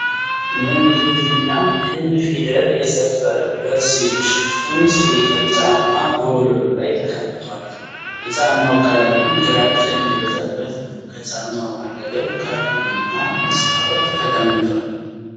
የእንግሊዘኛው "ኤን" ፊደል የሰፈረበት ሽፍን ስኒከር ጫማ በወለሉ ላይ ተቀምጧል። የጫማው ቀለምም ግራጫ የሚበዛበት ነው። ከጫማው አጠገብ ካርቶን እና መስታወት ተቀምጧል።